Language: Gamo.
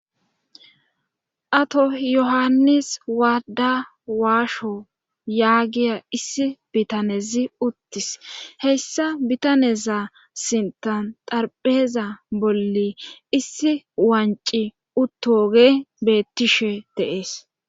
Ato yohanis waada waasho yaagiya issi botanezi ittis heyssa bitaneza sintan xarpheeza bolli issiwancci uttooge beettishe de7ees.